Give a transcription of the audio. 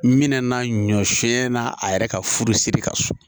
Minɛna ɲɔ sɛnɛna a yɛrɛ ka furusiri ka so